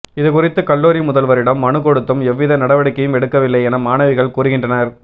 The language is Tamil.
இது குறித்து கல்லூரி முதல்வரிடம் மனு கொடுத்தும் எவ்வித நட வடிக்கையும் எடுக்கவில்லை என மாணவிகள் கூறுகின்ற னர்